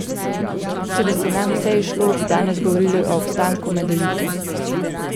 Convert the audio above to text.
Če bi se nam vse izšlo, bi danes govorili o obstanku med elito.